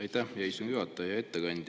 Aitäh, hea istungi juhataja!